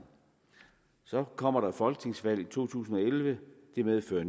så kommer der et folketingsvalg i to tusind og elleve det medfører at